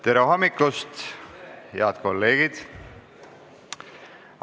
Tere hommikust, head kolleegid!